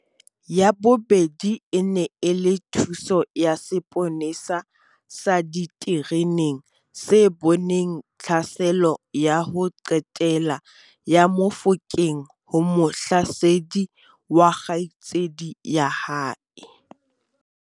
Ya bobedi e ne e le thuso ya seponesa sa ditereneng se boneng tlhaselo ya ho qetela ya Mofokeng ho mohlasedi wa kgaitsedi ya hae.